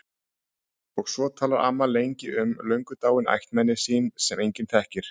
Og svo talar amma lengi um löngu dáin ættmenni sín sem enginn þekkir.